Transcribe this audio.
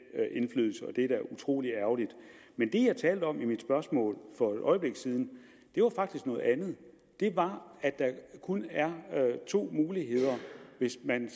give er da utrolig ærgerligt men det jeg talte om i mit spørgsmål for et øjeblik siden var faktisk noget andet det var at der kun er to muligheder hvis man